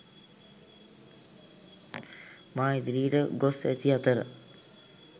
මා ඉදිරියට ගොස් ඇති අතර